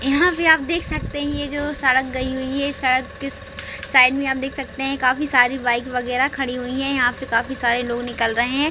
यहाँ पे आप देख सकते है ये जो सड़क गयी हुई है सड़क के साइड में आप देख सकते है काफी सारी बाइक वगैरह खड़ी हुई है यहाँ पे काफी सारे लोग निकल रहे है।